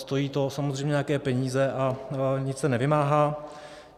Stojí to samozřejmě nějaké peníze a nic se nevymáhá.